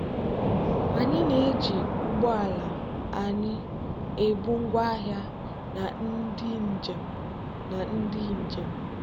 anyị na-eji ụgbọ ala anyị ebu ngwaahịa na ndị njem. na ndị njem.